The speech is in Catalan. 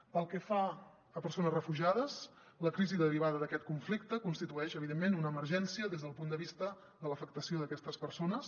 pel que fa a persones refugiades la crisi derivada d’aquest conflicte constitueix evidentment una emergència des del punt de vista de l’afectació d’aquestes persones